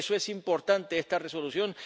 Por eso es importante esta Resolución.